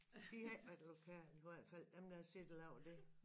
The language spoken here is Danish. De har ikke været lokale i hvert fald dem der har siddet og lavet det